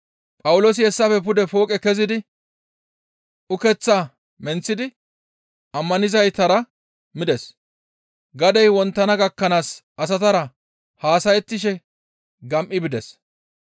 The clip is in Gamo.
Phawuloosi hessafe pude fooqe kezidi ukeththaa menththidi ammanizaytara mides; gadey wonttana gakkanaas asatara haasayettishe gam7i bides.